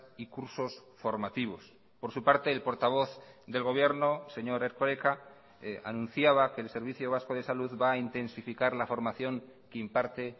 y cursos formativos por su parte el portavoz del gobierno señor erkoreka anunciaba que el servicio vasco de salud va a intensificar la formación que imparte